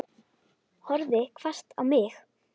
Horfði hvasst á mig.